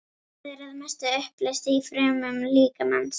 Það er að mestu uppleyst í frumum líkamans.